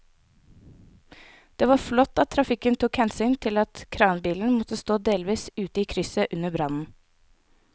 Det var flott at trafikken tok hensyn til at kranbilen måtte stå delvis ute i krysset under brannen.